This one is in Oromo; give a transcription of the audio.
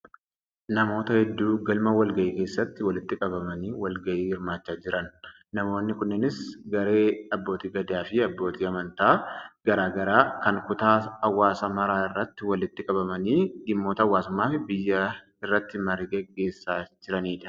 Namoota hedduu galma wal-gahii keessatti walitti qabamanii wal-gahii hirmaachaa jiran. Namoonni kunneenis garee abbootii gadaa fi abbootii amantaa garaa garaa kan kutaa hawaasaa mara irraa walitti qabamanii dhimmoota hawaasummaa fi biyyaa irratti marii gaggeessaa jiranidha.